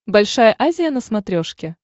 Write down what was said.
большая азия на смотрешке